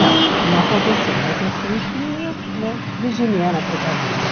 Não, não aconteceu, mas eu sempre, né, virginiana precavida.